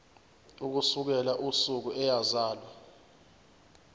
ukusukela usuku eyazalwa